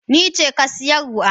Nice ke siyarwa.